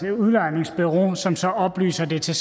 et udlejningsbureau som så oplyser det til